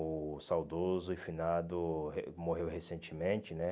O saudoso e finado re morreu recentemente, né?